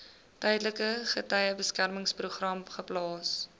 tydelike getuiebeskermingsprogram geplaas